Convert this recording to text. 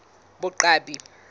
boqwabi